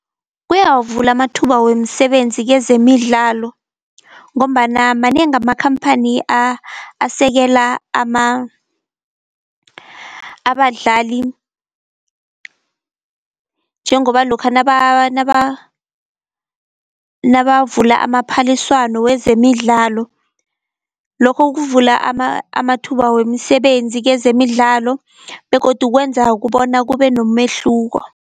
Kuyawavula amathuba wemisebenzi kezemidlalo, ngombana manengi amakhamphani asekela abadlali njengoba lokha nabavula amaphaliswano wezemidlalo, lokho kuvula amathuba wemisebenzi kezemidlalo begodu kwenza kubona kube nomehluko.